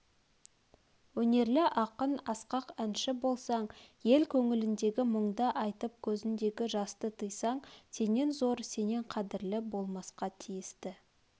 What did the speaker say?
өнерлі ақын асқақ әнші болсаң ел көңіліндегі мұңды айтып көзіндегі жасты тыйсаң сенен зор сенен қадірлі болмасқа тиісті